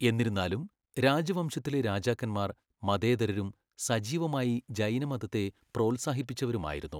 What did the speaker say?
എന്നിരുന്നാലും, രാജവംശത്തിലെ രാജാക്കന്മാർ മതേതരരും സജീവമായി ജൈനമതത്തെ പ്രോത്സാഹിപ്പിച്ചവരുമായിരുന്നു.